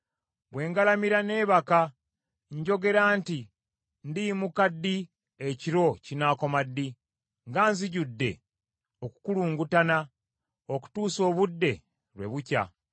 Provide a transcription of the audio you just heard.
Bwe ngalamira neebake, njogera nti, ‘Ndiyimuka ddi, ekiro kinaakoma ddi?’ Nga nzijudde okukulungutana okutuusa obudde lwe bukya.